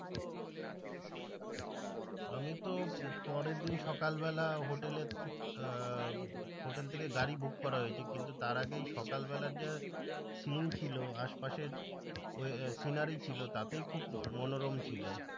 আমিতো পরের দিন সকাল বেলা হোটেল আহ হোটেল থেকে গাড়ি book করা হয়েছে, কিন্তু তার আগেই সকাল বেলার যা sin ছিল আশেপাশের ওই যে scenery ছিল তাতে খুব মনোরম ছিল।